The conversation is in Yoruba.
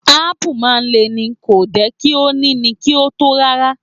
Apu maa n Le ni, ko de ki o ni ni ti o to rara